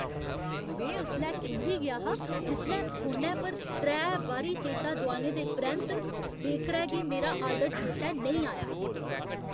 में उसलै खिंझी गेआ हा जिसलै फोनै पर त्रै बारी चेता दुआने दे परैंत्त बेकरै गी मेरा आर्डर चेतै नेईं आया।